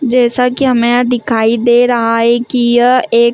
जैसा कि हमें यहां दिखाई दे रहा है कि यह एक --